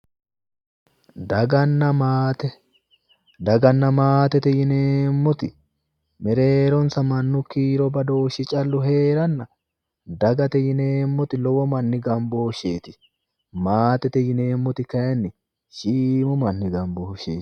Dganna maate. daganna maatete yineemmoti mereeronsa mannu kiiro badooshshi calla heeranna dagate yinemmoti lowo manni gambooshsheeti maate yineemmoti kayinni shiimu manni gambooshsheeti.